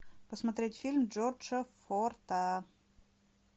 посмотреть фильм джорджа форта